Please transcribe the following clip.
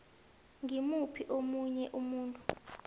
ngimuphi omunye umuntu